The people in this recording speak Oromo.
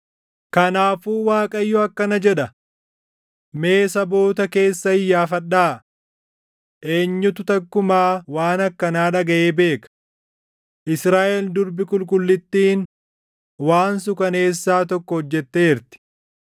Kanaafuu Waaqayyo akkana jedha: “Mee saboota keessa iyyaafadhaa: Eenyutu takkumaa waan akkanaa dhagaʼee beeka? Israaʼel Durbi Qulqullittiin waan suukaneessaa tokko hojjetteerti.